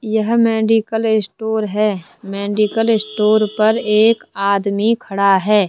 यह medical store हैं medical store पर एक आदमी खड़ा हैं।